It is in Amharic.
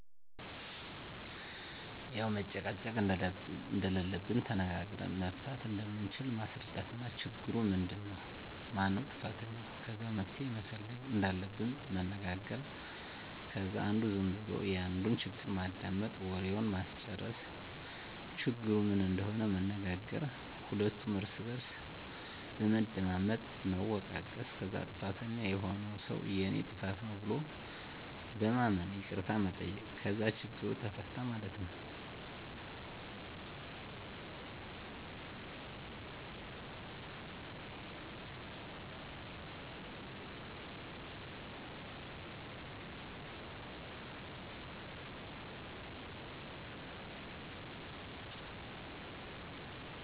ያዉ መጨቃጨቅ እንደለለብን ተነጋግረን መፍታት እንደምንችል ማስረዳት እና ችግሩ ምንድን ነዉ ? ማነዉ ጥፋተኛዉ? ከዛ መፍትሄ መፈለግ እንዳለብን መነጋገር ከዛ አንዱ ዝም ብሎ የአንዱን ችግር ማዳመጥ፣ ወሬዉን ማስጨረስ፣ ችግሩ ምን እንደሆነ መናገር ሁለቱም እርስ በርስ በመደማመጥ መወቃቀስ ከዛ ጥፋተኛዉ የሆነዉ ሰዉ የኔ ጥፋት ነዉ ብሎ በማመን ይቅርታ መጠየቅ ከዛ ችግሩ ተፈታ ማለት ነዉ።